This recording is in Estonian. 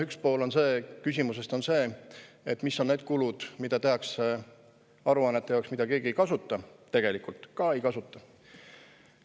Üks pool küsimusest on see, mis on need kulud, mida tehakse aruannete jaoks, mida keegi ei kasuta – tegelikult ka ei kasuta.